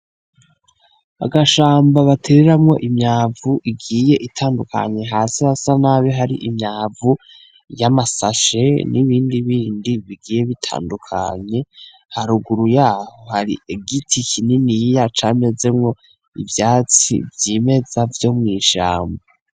Agashamba batereramwo Imyavu igiye itandukanye hasi hasa nabi hari imyavu yama sashe n’ibindi bindi bigiye bitandukanye , haruguru yaho hari igiti kininiya camezemwo ivyatsi vyimeza vyo mw’ishamba.